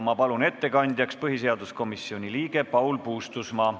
Ma palun ettekandjaks põhiseaduskomisjoni liikme Paul Puustusmaa.